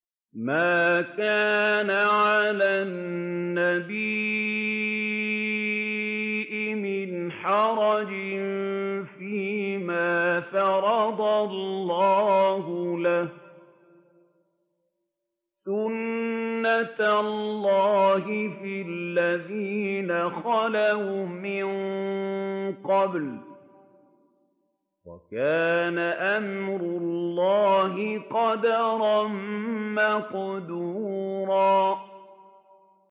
مَّا كَانَ عَلَى النَّبِيِّ مِنْ حَرَجٍ فِيمَا فَرَضَ اللَّهُ لَهُ ۖ سُنَّةَ اللَّهِ فِي الَّذِينَ خَلَوْا مِن قَبْلُ ۚ وَكَانَ أَمْرُ اللَّهِ قَدَرًا مَّقْدُورًا